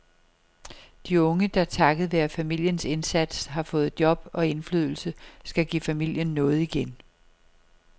De unge, der takket være familiens indsats har fået job og indflydelse, skal give familien noget igen.